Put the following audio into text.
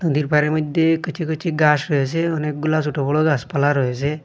নদীর পাড়ের মধ্যে কুচি কুচি ঘাস রয়েছে অনেকগুলা ছোট বড় গাছপালা রয়েছে।